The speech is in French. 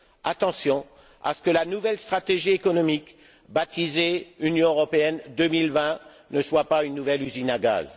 Attention à ce que la nouvelle stratégie économique, baptisée Union européenne 2020, ne soit pas une nouvelle usine à gaz.